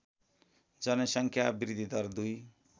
जनसङ्ख्या वृद्धिदर २